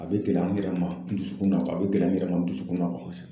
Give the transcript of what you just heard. A bɛ gɛlɛya an yɛrɛ ma, n dusukun na ,a bɛ gɛlɛya n yɛrɛ ma dusukun na kosɛbɛ.